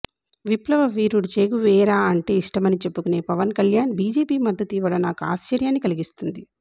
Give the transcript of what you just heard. విప్లవ వీరుడు చేగువేరా అంటే ఇష్టమని చెప్పుకునే పవన్ కళ్యాణ్ బిజెపి మద్దతు ఇవ్వడం నాకు ఆశ్చర్యాన్ని కలిగిస్తుంది